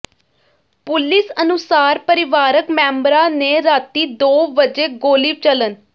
police ਅਨੁਸਾਰ ਪਰਿਵਾਰਕ ਮੈਂਬਰਾਂ ਨੇ ਰਾਤੀਂ ਦੋ ਵਜੇ ਗੋਲੀ ਚੱਲਣ